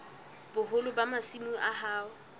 boholo ba masimo a hao